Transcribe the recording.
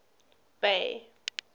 bay